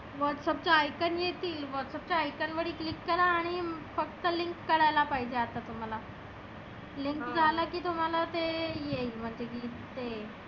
whatsapp चं icon येतील whatsapp च्या icon वरती click करा आणि फक्त link करायला पाहीजे आता. link झालं की तुम्हाला ते येईल मग तीकड ते.